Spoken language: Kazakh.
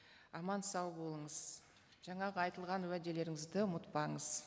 аман сау болыңыз жаңағы айтылған уәделеріңізді ұмытпаңыз